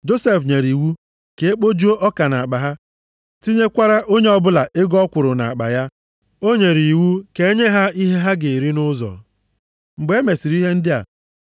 Josef nyere iwu ka e kpojuo ọka nʼakpa ha, tinyekwara onye ọbụla ego ọ kwụrụ nʼakpa ya. Ọ nyere iwu ka e nye ha ihe ha ga-eri nʼụzọ. Mgbe e mesịrị ihe ndị a,